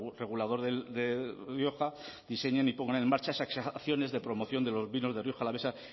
regulador de rioja diseñen y pongan en marcha acciones de promoción de los vinos de rioja alavesa